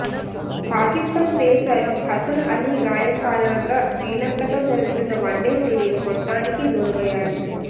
Pakistan pacer Hasan Ali గాయం కారణంగా శ్రీలంకతో జరుగుతున్న వన్డే సీరిస్ మొత్తానికి దూరమయ్యాడు